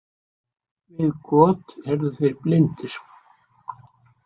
Við got eru þeir blindir.